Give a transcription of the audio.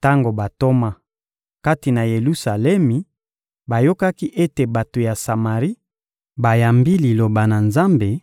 Tango bantoma, kati na Yelusalemi, bayokaki ete bato ya Samari bayambi Liloba na Nzambe,